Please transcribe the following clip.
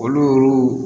Olu